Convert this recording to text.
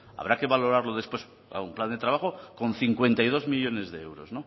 trabajo habrá que valorarlo después un plan de trabajo con cincuenta y dos millónes de